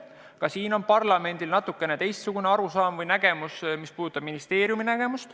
Ka selles osas on parlamendil natukene teistsugune arusaam kui ministeeriumil.